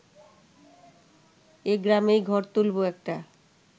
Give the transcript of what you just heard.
এই গ্রামেই ঘর তুলব একটা